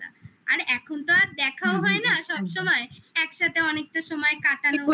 আর এখন তো আর দেখাও হয় না সবসময় একসাথে অনেকটা সময় কাটানো